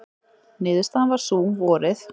Niðurstaðan varð sú, vorið